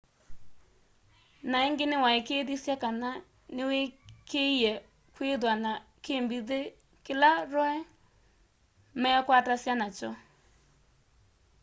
na ingi niwaikiithisye kana niwikiie kwithwa na kimbithi kila roe meekwatasya nakyo